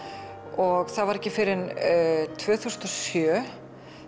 og það var ekki fyrr en tvö þúsund og sjö